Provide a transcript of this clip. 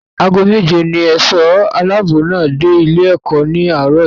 Ago méje ní ẹ̀ṣọ́ aláàbò náà dé ilé-ẹ̀kọ́ ní àárọ̀ yìí.